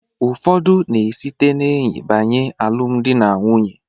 Ụfọdụ na-esite n'enyi banye n'alụm dị na nwunye.